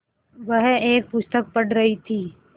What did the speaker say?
वह एक पुस्तक पढ़ रहीं थी